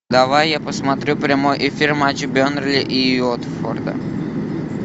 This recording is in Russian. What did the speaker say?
давай я посмотри прямой эфир матча бернли и уотфорда